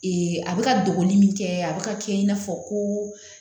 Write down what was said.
a bɛ ka dogo min kɛ a bɛ ka kɛ i n'a fɔ ko